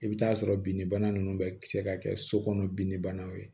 I bɛ taa sɔrɔ binnibana ninnu bɛ se ka kɛ so kɔnɔ bin de banaw ye